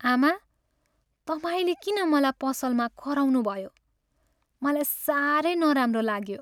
आमा! तपाईँले किन मलाई पसलमा कराउनुभयो, मलाई साह्रै नराम्रो लाग्यो।